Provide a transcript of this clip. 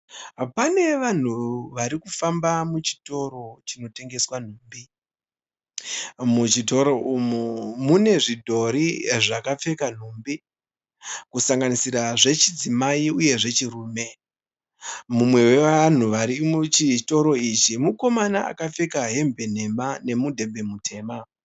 Panevanhu varikufamba muchitoro chinotengeswa nhumbi. Muchitoro umu munezvidhori zvakapfeka nhumbi. Kusanganisira zvechizimai nezvechirume. Mumwe wevanhu varikufamba muchitoro ichi mukoma akapfeka hembe nhema nemudhebhe mutema.